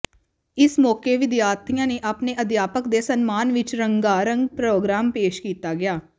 ਇਸ ਮੌਕੇ ਵਿਦਿਆਰਥੀਆਂ ਨੇ ਆਪਣੇ ਅਧਿਆਪਕ ਦੇ ਸਨਮਾਨ ਵਿਚ ਰੰਗਾਰੰਗ ਪ੍ਰਰੋਗਰਾਮ ਪੇਸ਼ ਕੀਤਾ ਗਿਆ